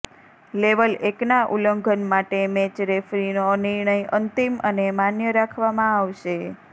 level એકના ઉલ્લઘંન માટે મેચ રેફરીનો નિર્ણય અંતિમ અને માન્ય રાખવામાં આવશે